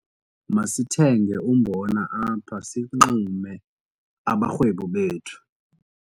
Masithenge umbona apha sixume abarhwebi bethu.